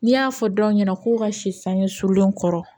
N'i y'a fɔ dɔw ɲɛna ko ka si sange sulen kɔrɔ